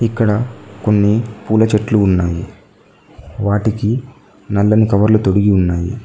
ఇక్కడ కొన్ని పూల చెట్లు ఉన్నాయి వాటికి నల్లని కవర్లు తొడిగి ఉన్నాయి.